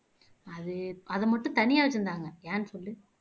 அது அதை மட்டும் தனியா வச்சிருந்தாங்க ஏன்னு சொல்லு